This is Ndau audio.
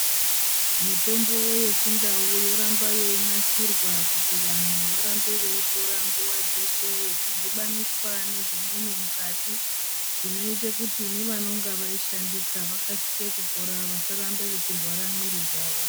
Mitombo yechindau yoramba yeyinasirwa, kuti vanhu varambe veyipora nguva dzeshe, yechidhibaniswa nezvimweni mukati zvinoyite kuti nevanonga vayishandisa vakasike kupora vasaramba vachirwara mwiri dzavo.